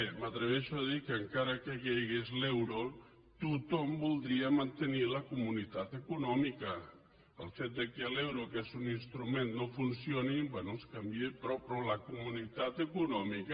m’atreveixo a dir que encara que caigués l’euro tothom voldria mantenir la comunitat econòmica el fet que l’euro que és un instrument no funcioni bé es canvia i prou però la comunitat econòmica